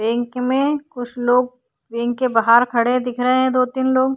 Bank में कुछ लोग बॅंक के बाहर खड़े दिख रहें हैं दो तीन लोग।